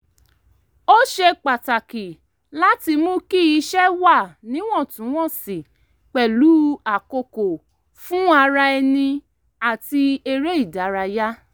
ó ṣe pàtàkì láti mú kí iṣẹ́ wà níwọ̀ntúnwọ̀nsì pẹ̀lú àkókò fún ara ẹni àti eré ìdárayá